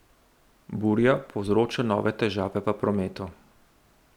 Burja povzroča nove težave v prometu.